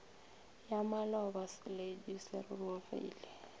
ya maloba seledu se rurugile